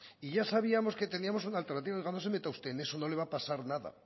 y ya sabíamos que teníamos una alternativa oiga no se meta usted en eso no le va a pasar nada